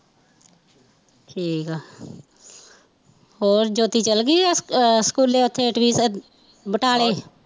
ਠੀਕ ਆ ਹੋਰ, ਜੋਤੀ ਚੱਲ ਗਈ ਆ ਆ ਸਕੂਲੇ ਉੱਥੇ iti ਕਰਨ ਬਟਾਲੇ